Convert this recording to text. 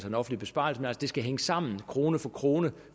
en offentlig besparelse men det skal altså hænge sammen krone for krone